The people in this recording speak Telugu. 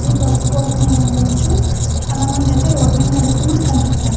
ఈ బస్సు కోసమై ఉండొచ్చు చాలామంది అయితే రోడ్ మీద నడుస్తూ మనకు కనిపిస్తున్నారు.